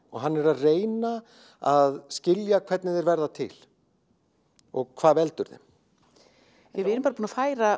og hann er að reyna að skilja hvernig þeir verða til og hvað veldur þeim við erum bara búin að færa